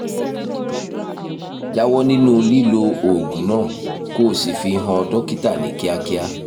jáwọ́ nínú lílo oògùn náà kó o sì fi hàn dókítà ní kíákíá